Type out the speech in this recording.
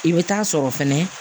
I bɛ taa sɔrɔ fɛnɛ